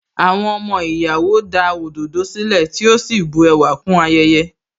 Àwọn ọmọ ìyàwó da òdòdó sílẹ̀, tí ó sì bu ẹwà kún ayẹyẹ.